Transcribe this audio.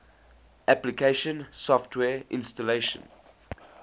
application software installation